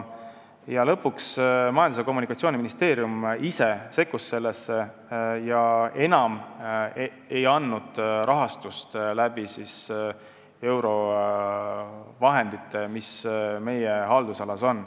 Lõpuks Majandus- ja Kommunikatsiooniministeerium ise sekkus sellesse ega andnud enam rahastust eurovahenditest, mis meie haldusalas on.